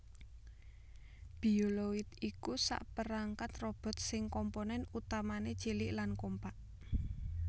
Bioloid iku sakperangkat robot sing komponèn utamané cilik lan kompak